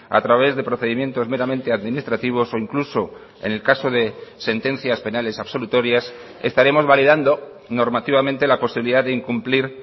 a través de procedimientos meramente administrativos o incluso en el caso de sentencias penales absolutorias estaremos validando normativamente la posibilidad de incumplir